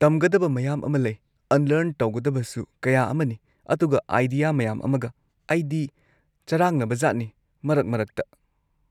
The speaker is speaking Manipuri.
-ꯇꯝꯒꯗꯕ ꯃꯌꯥꯝ ꯑꯃ ꯂꯩ, ꯑꯟꯂꯔꯟ ꯇꯧꯒꯗꯕꯁꯨ ꯀꯌꯥ ꯑꯃꯅꯤ, ꯑꯗꯨꯒ ꯑꯥꯏꯗꯤꯌꯥ ꯃꯌꯥꯝ ꯑꯃꯒ, ꯑꯩꯗꯤ ꯆꯔꯥꯡꯅꯕꯖꯥꯠꯅꯤ ꯃꯔꯛ ꯃꯔꯛꯇ꯫